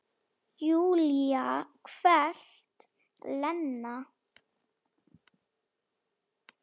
Júlía hvellt: Lena!